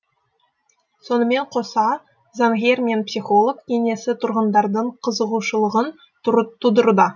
сонымен қоса заңгер мен психолог кеңесі тұрғындардың қызығушылығын тудыруда